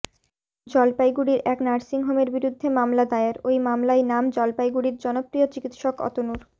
জলপাইগুড়ির এক নার্সিংহোমের বিরুদ্ধে মামলা দায়ের ওই মামলায় নাম জলপাইগুড়ির জনপ্রিয় চিকিৎসক অতনুর